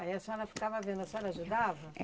Aí a senhora ficava vendo, a senhora ajudava?